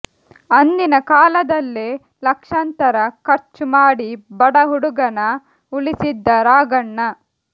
ಅಂದಿನ ಕಾಲದಲ್ಲೇ ಲಕ್ಷಾಂತರ ಖರ್ಚು ಮಾಡಿ ಬಡ ಹುಡುಗನ ಉಳಿಸಿದ್ದ ರಾಘಣ್ಣ